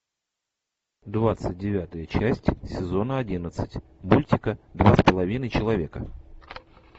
двадцать девятая часть сезона одиннадцать мультика два с половиной человека